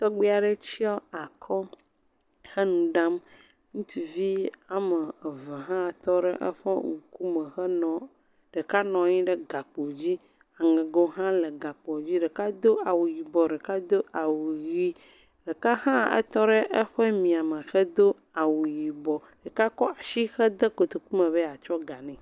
Tɔgbi aɖe tsɔ akɔ he nu ɖam. Ŋutsuvi ame eve hã tɔ ɖe eŋkume henɔ, ɖeka nɔ anyi ɖe gakpo dzi. Aŋego hã le gakpo dzi. Ɖeka do awu yibɔ, ɖeka hã do ʋi, ɖeka hã tɔ ɖe eƒe miame hedo awu yibɔ, ɖeka ko asi hede kotokume be yakɔ ga nɛ.